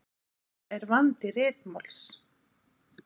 Þetta er vandi ritmáls.